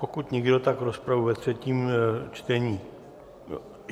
Pokud nikdo, tak rozpravu ve třetím čtení...